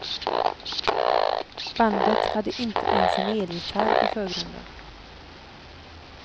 Bandet hade inte ens en elgitarr i förgrunden.